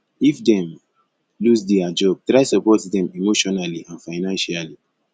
if dem loose their job try support dem emotionally and financially